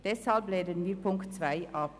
Deshalb lehnen wir Ziffer 2 ab.